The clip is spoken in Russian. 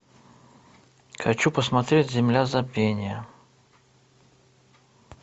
хочу посмотреть земля забвения